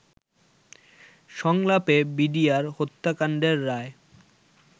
সংলাপে বিডিআর হত্যাকান্ডের রায়